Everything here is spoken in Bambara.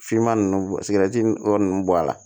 Finman ninnu sigɛrɛti yɔrɔ ninnu bɔ a la